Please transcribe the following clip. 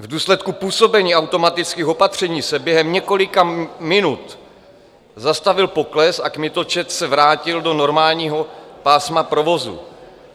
V důsledku působení automatických opatření se během několika minut zastavil pokles a kmitočet se vrátil do normálního pásma provozu.